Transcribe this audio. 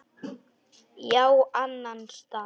Já, annan stað.